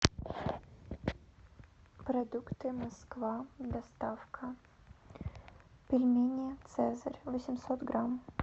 продукты москва доставка пельмени цезарь восемьсот грамм